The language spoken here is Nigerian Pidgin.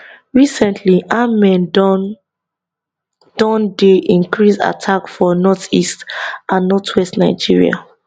recently armed men don don dey increase attack for northeast and northwest nigeria